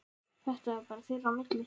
Þetta var bara þeirra á milli.